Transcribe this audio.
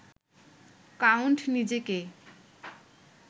count নিজেকে